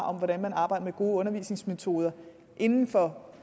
om hvordan man arbejder med gode undervisningsmetoder inden for